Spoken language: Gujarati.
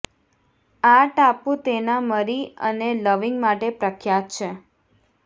આ ટાપુ તેના મરી અને લવિંગ માટે પ્રખ્યાત છે